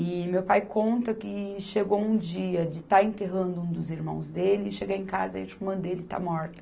E meu pai conta que chegou um dia de estar enterrando um dos irmãos dele, e chega em casa e a irmã dele está morta.